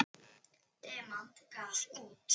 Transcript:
Demant gaf út.